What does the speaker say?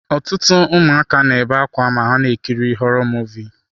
Ọtụtụ ụmụaka na-ebe akwa ma ha na-ekiri họrọ Muvịị.